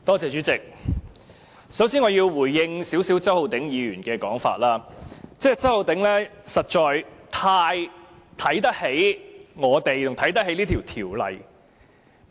主席，我首先要就周浩鼎議員的說法稍作回應，他實在太看得起我們及這項條例草案。